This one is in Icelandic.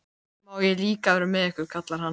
Má ég líka vera með ykkur? kallar hann.